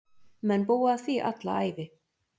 Menn búa að því alla ævi.